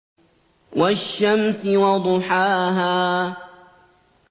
وَالشَّمْسِ وَضُحَاهَا